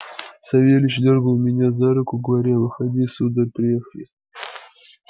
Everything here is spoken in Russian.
савельич дёргал меня за руку говоря выходи сударь приехали